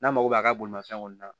N'a mago b'a ka bolifɛn kɔnɔ